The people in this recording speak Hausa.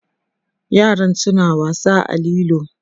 yaran suna wasa a lilo